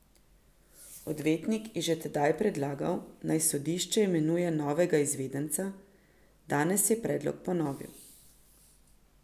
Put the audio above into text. Odvetnik je že tedaj predlagal, naj sodišče imenuje novega izvedenca, danes je predlog ponovil.